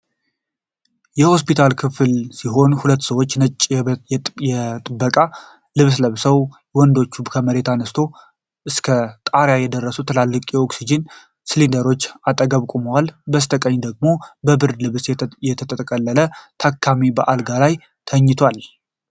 የሆስፒታል ክፍል ሲሆን ሁለት ሰዎች ነጭ የጥበቃ ልብስ ለብሰው ። ወንዶቹ ከመሬት አንስቶ እስከ ጣሪያ ከደረሱ ትላልቅ የኦክስጂን ሲሊንደሮች አጠገብ ቆመዋል። በስተቀኝ ደግሞ በብርድ ልብስ የተጠቀለለ ታካሚ በአልጋ ላይ ተኝቷል።